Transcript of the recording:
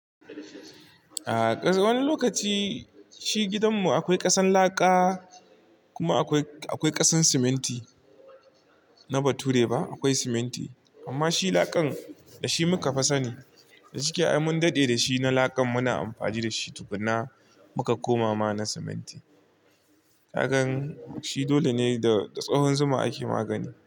A wani lokaci, shi gidanmu akwai ƙasan laƙa, kuma akwai, akwai ƙasan siminti na bature ba, akwai siminti amma shi laƙan, da shi muka fa sani. Da shike ai mun daɗe da shi na laƙan muna amfani da shi, tukunna muka koma ma na siminti. Kagan, shi dole ne da, da tsahon zuma ake magani.